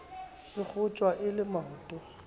e kgotjwa e le maoto